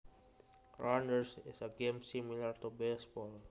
Rounders is a game similar to baseball